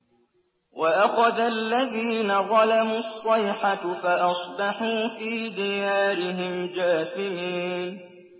وَأَخَذَ الَّذِينَ ظَلَمُوا الصَّيْحَةُ فَأَصْبَحُوا فِي دِيَارِهِمْ جَاثِمِينَ